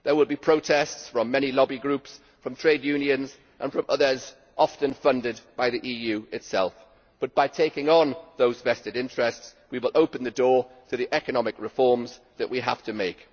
There will be protests from many lobby groups, from trade unions and from others often funded by the EU itself, but by taking on those vested interests we will open to door to the economic reforms that we have to make.